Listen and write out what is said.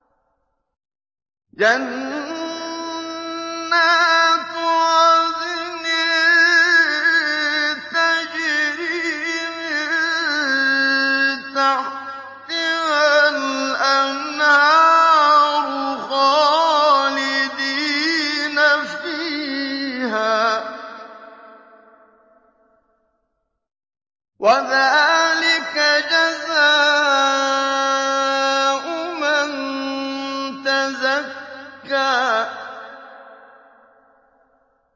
جَنَّاتُ عَدْنٍ تَجْرِي مِن تَحْتِهَا الْأَنْهَارُ خَالِدِينَ فِيهَا ۚ وَذَٰلِكَ جَزَاءُ مَن تَزَكَّىٰ